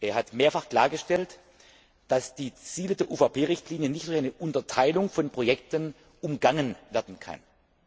Er hat mehrfach klargestellt, dass die Ziele der UVP Richtlinie nicht durch eine Unterteilung von Projekten umgangen werden können.